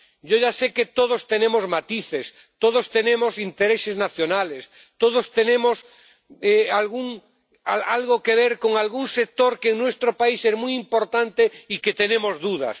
Yo ya sé que todos tenemos matices, todos tenemos intereses nacionales, todos tenemos algo que ver con algún sector que en nuestro país es muy importante, y tenemos dudas.